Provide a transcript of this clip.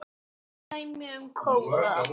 Dæmi um kóða